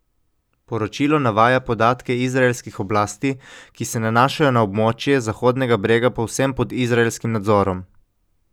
Poročilo navaja podatke izraelskih oblasti, ki se nanašajo na območje Zahodnega brega povsem pod izraelskim nadzorom.